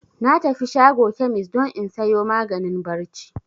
Na tafi shago kemis don in sayo maganin barci